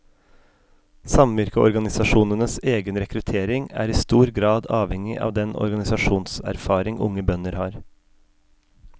Samvirkeorganisasjonenes egen rekruttering er i stor grad avhengig av den organisasjonserfaring unge bønder har.